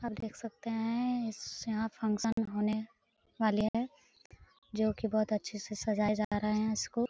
आप देख सकते हैं यहाँ फंक्शन होने वाला है जो की बहुत अच्छे से सजाये जा रहे हैं इसको ।